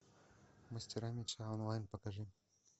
мастера меча онлайн покажи